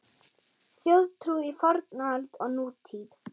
Þjóðtrú í fornöld og nútíð